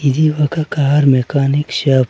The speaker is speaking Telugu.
ఇది ఒక కార్ మెకానిక్ షాప్ .